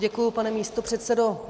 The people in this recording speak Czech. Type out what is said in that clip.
Děkuji, pane místopředsedo.